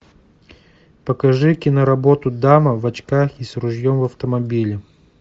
покажи киноработу дама в очках и с ружьем в автомобиле